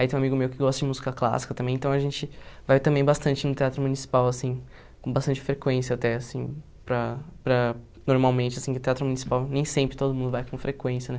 Aí tem um amigo meu que gosta de música clássica também, então a gente vai também bastante no Teatro Municipal, assim, com bastante frequência até, assim, para, para, normalmente, assim, o Teatro Municipal nem sempre todo mundo vai com frequência, né?